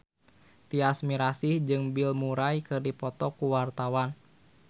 Tyas Mirasih jeung Bill Murray keur dipoto ku wartawan